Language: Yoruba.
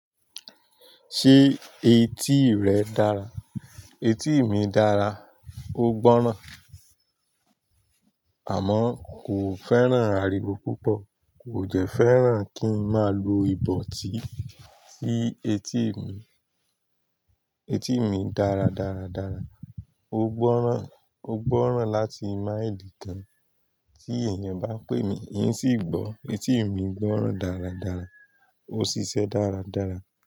Ṣé etí rẹ dára? Etí mi dára, ó gbọ́ràn. Àmọ́, kò fẹ́ràn àrìwó púpọ̀, kò dẹ́ fẹ́ràn kí n máa lo ibotí, sí etí mi, etí mi dára dáradára. Ó gbọ́ràn, ó gbọ́ràn láti mile kan tí èèyàn bá pè mí, in sì gbọ́. Etí mi gbọ́ràn dáradára, ó ṣiṣẹ́ dáradára.